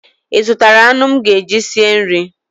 Ị zụtara anụ m ga-eji sie nri?